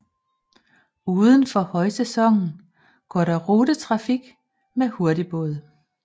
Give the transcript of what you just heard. Udenfor højsæsonen går der rutetrafik med hurtigbåd